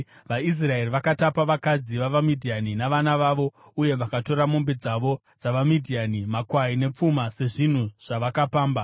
VaIsraeri vakatapa vakadzi vavaMidhiani navana vavo uye vakatora mombe dzose dzavaMidhiani, makwai nepfuma sezvinhu zvavakapamba.